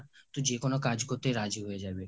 তুই যেকোনো কাজ করতেই রাজি হয়ে যাবি